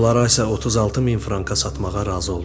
Onlara isə 36 min franka satmağa razı oldular.